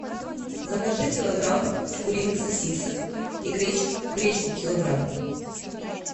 закажи килограмм куриных сосисок и гречку килограмм